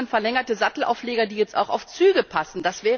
in Deutschland verlängerte Sattelaufleger, die jetzt auch auf Züge passen.